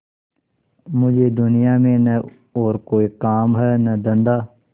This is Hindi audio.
मुझे दुनिया में न और कोई काम है न धंधा